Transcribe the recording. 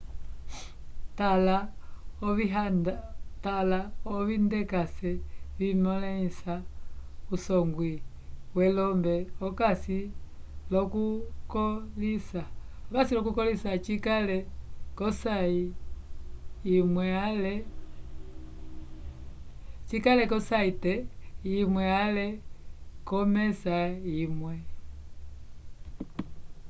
tala ovindekase vimõlisa usongwi welombe okasi l'okukõlisa cikale k'osayte imwe ale k'omesa imwe